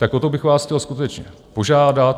Tak o to bych vás chtěl skutečně požádat.